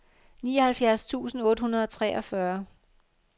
nioghalvfjerds tusind otte hundrede og treogfyrre